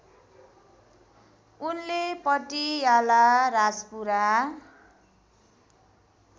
उनले पटियाला राजपुरा